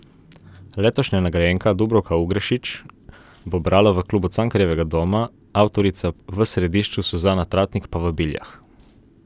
Letošnja nagrajenka Dubravka Ugrešić bo brala v Klubu Cankarjevega doma, avtorica v središču Suzana Tratnik pa v Biljah.